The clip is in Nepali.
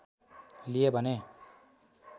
लिए भने